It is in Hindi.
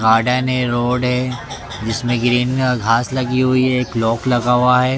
गार्डन हैं रोड हैं जिसमें ग्रीन घास लगी हुई हैं एक लॉक लगा हुआ हैं।